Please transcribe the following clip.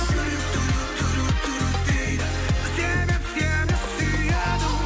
жүрек дейді себеп сені сүйеді